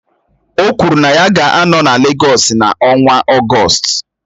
O kwuru na ya ga-anọ na Legọs n'ọnwa Ọgọst